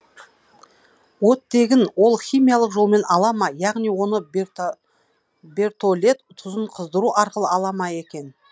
оттегін ол химиялық жолмен ала ма яғни оны бертолет тұзын қыздыру арқылы ала ма екен